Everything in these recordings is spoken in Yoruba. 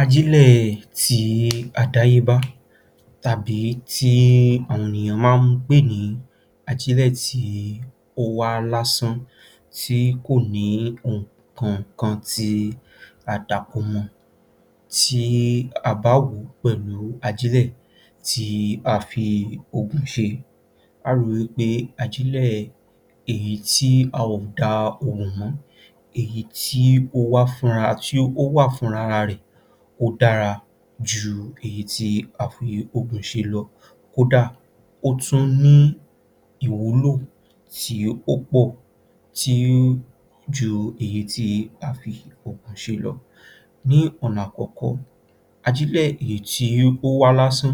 Ajílẹ̀ ti àdáyébá tàbí tí àwọn ènìyàn máa ń pè ní ajílẹ̀ tí ó wà lásán tí kò ní ohun kankan tí a dàpọ̀ mọ́ ọn tí a bá wò wó pẹ̀lú ajílẹ̀ tí a fi oògùn ṣe, a óò rí wí pé ajílẹ̀ tí a ò da ògùn mọ́, èyí tí ó wá fúnra ara rẹ̀ ó dára ju èyí tí a fi oògùn ṣe lọ, kódà ó tún ní ìwúlò èyí tí ó pọ̀ tí ó ju èyí tí a fi oògùn ṣe lọ. Ní ọ̀nà àkọ́kọ́, ajílẹ̀ èyí tí ó wá lásán,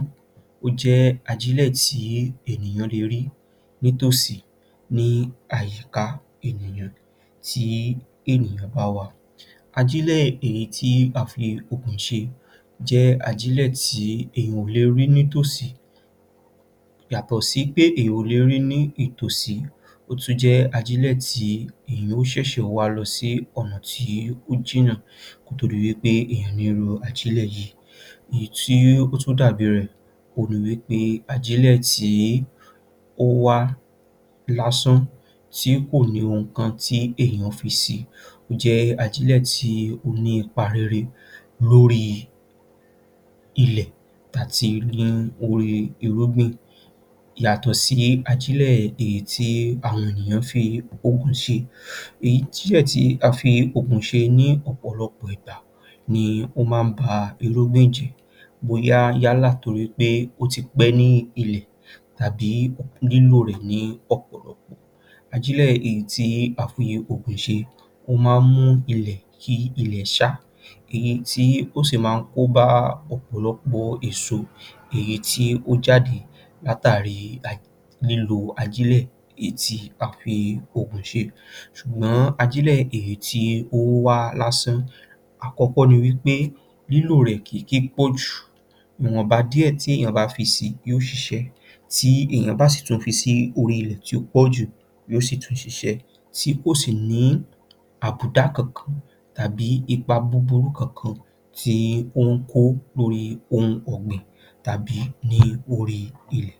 ó jẹ́ ajílẹ̀ tí ènìyàn le rí nítòsí ní àyíká ènìyàn tí ènìyàn bá wà. Ajílẹ̀ èyí tí a fi oògùn ṣe jẹ́ ajílẹ̀ tí ènìyàn ò le rí nítòsí yàtọ̀ pé ènìyàn ò lè rí i ní itòsí, ó tún jẹ́ ajílẹ̀ tí èèyàn yóò ṣẹ̀ṣẹ̀ wa lọ sí ọ̀nà tí ó jìnà kó tó di wí pé èèyàn ní irú ajílẹ̀ yìí, èyí tí ó tún dàbí rẹ́ òhun ni wí pé ajílẹ̀ tí ó wá lásán tí kò ní ohun kan tí èèyàn fi si, ó jẹ́ ajílẹ̀ tí ó ní ipa rere lórí ilẹ̀ àti ní orí irúgbìn yàtọ̀ sí ajílẹ̀ èyí tí àwọn ènìyàn fi oògùn ṣe. Èyí tí a dẹ̀ fi oògùn ṣe ní ọ̀pọ̀lọpọ̀ ìgbà ni ó máa ń ba irúgbìn jẹ́ bóyá yálà b nítorí pé ó ti pẹ́ nínú ilẹ̀ tàbí lílò rẹ̀ ní ọ̀pọ̀lọpọ̀. Ajílẹ̀ èyí tí a fi oògùn ṣe ó máa ń mú ilẹ̀ kí ilẹ́ ṣá, èyí tí ó sì máa ń kóbá ọ̀pọ̀lọpọ̀ èso èyí tí ó jáde látàrí lílò ajílẹ̀ èyí tí a fi oògùn ṣe, ṣùgbọ́n lílò ajílẹ̀ tí ó wá lásán, àkọ́kọ́ ni wí pé lílò rẹ̀ kì í pọ̀jù, ìwọ̀nba díẹ̀ tí èèyàn bá fi si yóò ṣiṣẹ́, tí èèyàn bá sì fi sí orí ilẹ̀ tó pọ̀jù yóò ṣiṣẹ́ tí kò sí àbùdá kankan tàbí ipa búburú kankan tó ń kó lórí ohun ọ̀gbìn tàbí ní orí ilẹ̀.